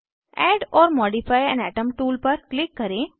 add or modify an atom tool पर click करें